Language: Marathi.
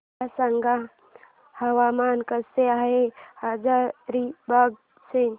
मला सांगा हवामान कसे आहे हजारीबाग चे